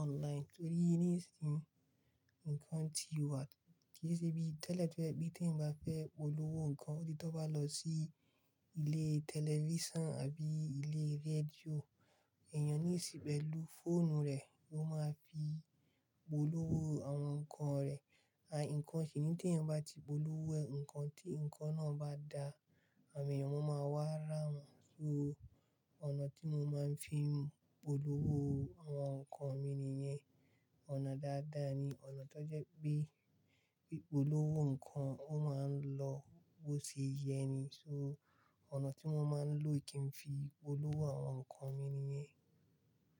online torí nísìnyí nǹkan ti wà, kí i ṣe bí tẹlẹ to jẹ pe, te yan bá fẹ́ polówó nǹkan, odi tó bá lọ sí ilé tẹlifíṣàn àbí ilé rédíò, èèyàn nísìn pẹ́lu fóònù rẹ̀ ló máa ń fi polówó àwọn nǹkan rẹ̀. Àì nǹkan sìní tí èèyàn bá ti polówó ẹ̀ nǹkan tí nǹkan náà bá da, àwon èèyàn wọn máa wá rá wọn. So ọ̀nà tí mo máa ń fi polówó àwọn nǹkan mi nìyẹn. Ọ̀nà dáadáa ni, ọ̀nà tó jẹ́ pé ipolówó nǹkan ó máa ń lọ bó ṣe yẹ ni, so ọ̀nà tí mo máa ń lò kí n fi polówó àwọn nǹkan mi nìyen.